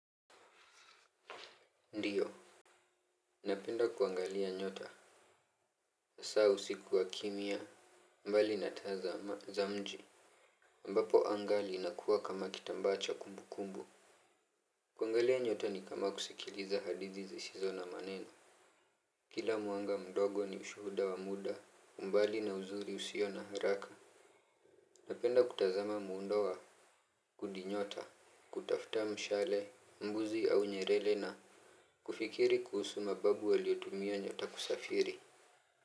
Ndiyo. Napenda kuangalia nyota hasa usiku wa kimya. Mbali natazama za mji ambapo anga liinakuwa kama kitambaa cha kumbukumbu. Kuangalia nyota ni kama kusikiliza hadithi zisizo na maneno. Kila mwanga mdogo ni ushuda wa muda umbali na uzuri usio na haraka. Napenda kutazama muundo wa kundi nyota. Kutafuta mshale mbuzi au nyerele na kufikiri kuhusu mababu waliotumia nyota kusafiri.